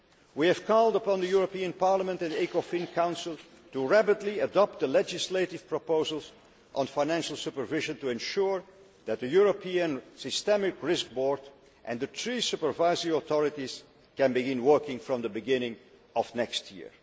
We have called upon the European Parliament and the Economic and Financial Affairs Council to rapidly adopt the legislative proposals on financial supervision to ensure that the European systemic risk board and the three supervisory authorities can begin working from the beginning of next year.